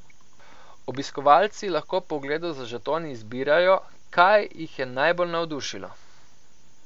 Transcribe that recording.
Obiskovalci lahko po ogledu z žetoni izbirajo, kaj jih je najbolj navdušilo.